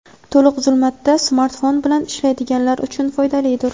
to‘liq zulmatda smartfon bilan ishlaydiganlar uchun foydalidir.